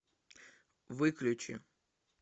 выключи